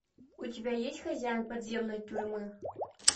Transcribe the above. у тебя есть хозяин подземной тюрьмы